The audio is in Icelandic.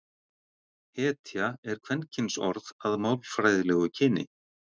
hetja er kvenkynsorð að málfræðilegu kyni